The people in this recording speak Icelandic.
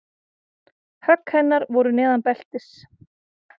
Högg hennar voru neðan beltis.